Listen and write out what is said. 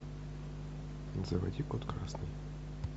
заводи под красный